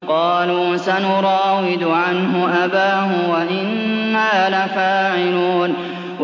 قَالُوا سَنُرَاوِدُ عَنْهُ أَبَاهُ وَإِنَّا لَفَاعِلُونَ